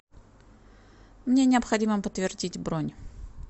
мне необходимо подтвердить бронь